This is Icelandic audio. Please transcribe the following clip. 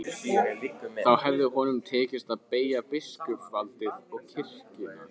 Þá hefði honum tekist að beygja biskupsvaldið og kirkjuna.